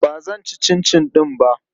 Ba zan ci cincin ɗin ba.